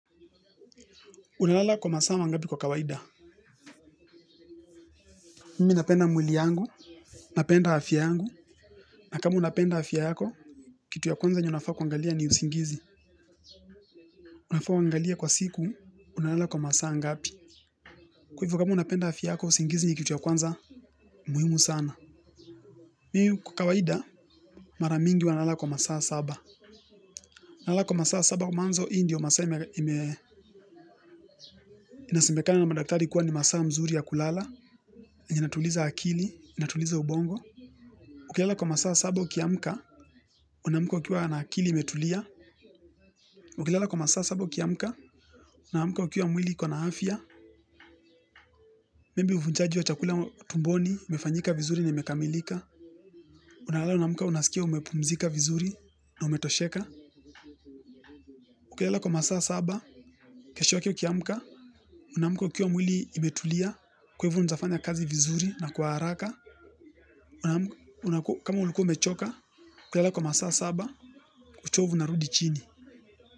Unalala kwa masaa mangapi kwa kawaida. Mimi napenda mwili yangu. Napenda afya yangu. Na kama unapenda afya yako kitu ya kwanza yenye unafaa kuangalia ni usingizi. Unafaa uangalie kwa siku. Unalala kwa masaa ngapi. Kwa hivo kama unapenda afya yako usingizi ni kitu ya kwanza muhimu sana. Mimi kwa kawaida maramingi huwanalala kwa masaa saba. Nalala kwa masaa saba kwa mwanzo hii ndio masaa ime inasemekana na madaktari kuwa ni masaa mzuri ya kulala inatuliza akili inatuliza ubongo. Ukilala kwa masaa saba uki amka unaamka ukiwa na akili imetulia. Ukilala kwa masaa saba ukiamka unaamka ukiwa mwili iko na afya maybe uvunjaji wa chakula tumboni umefanyika vizuri na imekamilika. Unalala una amka unasikia umepumzika vizuri na umetosheka. Ukilala kwa masaa saba. Kesho yake ukiamka unaamka ukiwa mwili imetulia. Kwa hivo unawezafanya kazi vizuri na kwa haraka. Kama ulikuwa umechoka ukilala kwa masaa saba uchovu unarudi chini.